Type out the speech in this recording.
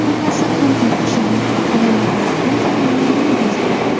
Hammasi qanday boshlandi, alomatlar qanday namoyon bo‘ldi?